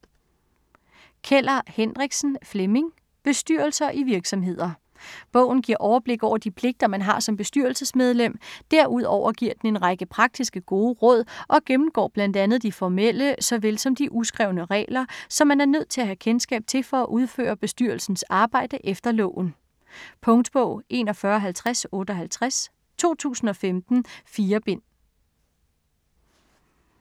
Keller Hendriksen, Flemming: Bestyrelser i virksomheder Bogen giver overblik over de pligter, man har som bestyrelsesmedlem. Derudover giver den en række praktiske, gode råd og gennemgår bl.a. de formelle såvel som de uskrevne regler, som man er nødt til at have kendskab til for at udføre bestyrelsens arbejde efter loven. Punktbog 415058 2015. 4 bind.